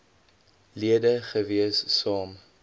lede gewees saam